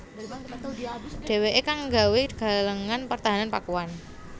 Dhèwèké kang nggawé galengan pertahanan Pakuan